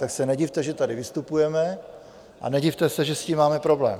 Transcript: Tak se nedivte, že tady vystupujeme, a nedivte se, že s tím máme problém.